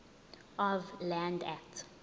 of land act